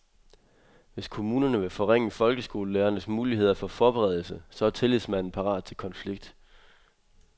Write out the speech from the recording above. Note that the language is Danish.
Hvis kommunerne vil forringe folkeskolelærernes muligheder for forberedelse, så er tillidsmanden parat til konflikt.